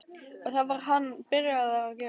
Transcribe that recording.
Og það var hann byrjaður að gera.